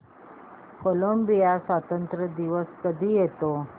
Colombia स्वातंत्र्य दिवस कधी येतो